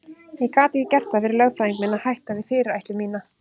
Ég gat ekki gert það fyrir lögfræðing minn að hætta við fyrirætlun mína.